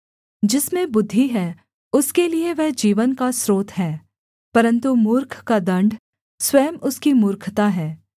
जिसमें बुद्धि है उसके लिये वह जीवन का स्रोत है परन्तु मूर्ख का दण्ड स्वयं उसकी मूर्खता है